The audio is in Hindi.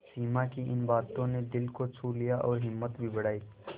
सिमा की इन बातों ने दिल को छू लिया और हिम्मत भी बढ़ाई